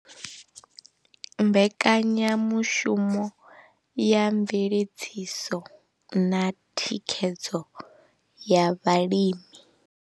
Mbekanyamushumo ya mveledziso na thikhedzo ya vhalimi.